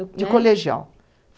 Né? de colegial.